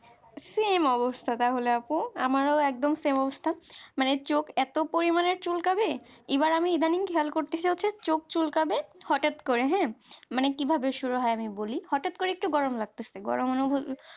same অবস্থা তাহলে আপু আমারও একদম same অবস্থা মানে চোখ এত পরিমানে চুলকাবে এবার আমি idling খেয়াল করতেছি হচ্ছে চোখ চুলকাবে হঠাৎ করে হ্যাঁ মানে কিভাবে শুরু হয় আমি বলি গরম মানে হলো